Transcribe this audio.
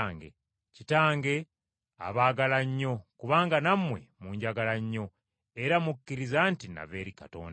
Kitange abaagala nnyo kubanga nammwe munjagala nnyo era mukkiriza nti nava eri Katonda.